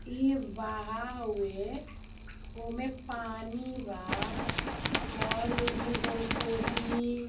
ये बहा हुए ओ में पानी बा और उसमें जल को भी--